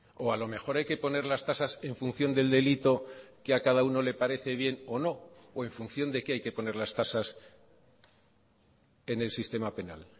o a lo mejor hay que poner las tasas en función del delito que a cada uno le parece bien o no o en función de qué hay que poner las tasas en el sistema penal